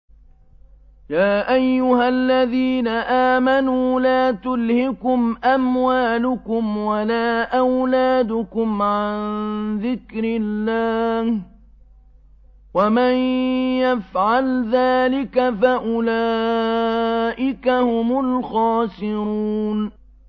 يَا أَيُّهَا الَّذِينَ آمَنُوا لَا تُلْهِكُمْ أَمْوَالُكُمْ وَلَا أَوْلَادُكُمْ عَن ذِكْرِ اللَّهِ ۚ وَمَن يَفْعَلْ ذَٰلِكَ فَأُولَٰئِكَ هُمُ الْخَاسِرُونَ